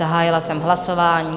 Zahájila jsem hlasování.